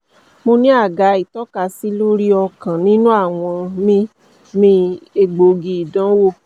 mo ni a ga itọkasi lori ọkan ninu awọn mi mi egboogi idanwo